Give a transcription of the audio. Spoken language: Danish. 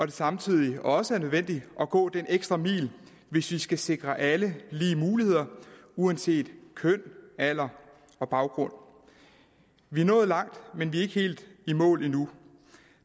det samtidig også er nødvendigt at gå den ekstra mil hvis vi skal sikre alle lige muligheder uanset køn alder og baggrund vi er nået langt men vi er ikke helt i mål endnu